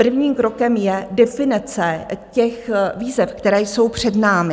Prvním krokem je definice těch výzev, které jsou před námi.